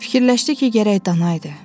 Fikirləşdi ki, gərək dana idi.